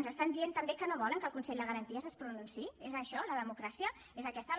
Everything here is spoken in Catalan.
ens estan dient també que no volen que el consell de garanties es pronunciï és això la democràcia és aquesta la